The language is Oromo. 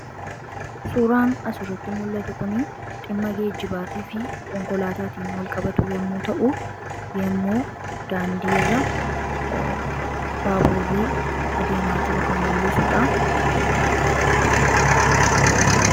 suuraan asirratti mul'atu kun ximma geejibaatii fi konkolaataatiin walqabatu yommuu ta'u yommou daandirra baaburii adeemaa jiru kan mul'isuudha